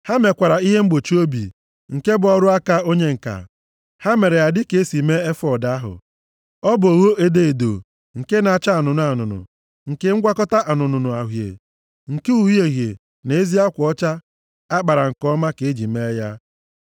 Ha mekwara ihe mgbochi obi, nke bụ ọrụ aka onye ǹka. Ha mere ya dịka e si mee efọọd ahụ. Ọ bụ ogho edo edo, nke na-acha anụnụ anụnụ, nke ngwakọta anụnụ na uhie, nke uhie uhie na ezi akwa ọcha a kpara nke ọma ka e ji mee ya.